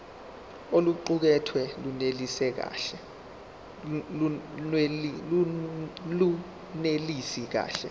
oluqukethwe lunelisi kahle